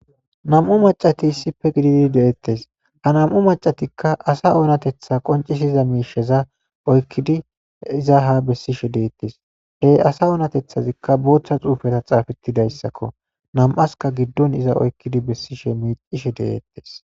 nam7u macati issife gididi de7eettes ha nam7u macatikka asa oonatetha qoncisi iza miisheza oykkidi iza ha bessishe deettes hey asa oonatethazikka booththa xuufeta xaafetidayssakko nam7aska giddon iza oykkidi bessishe miicishe de7eettes